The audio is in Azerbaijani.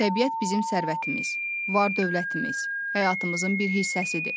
Təbiət bizim sərvətimiz, var-dövlətimiz, həyatımızın bir hissəsidir.